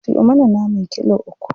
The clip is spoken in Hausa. Siyo mana naman kilo uku.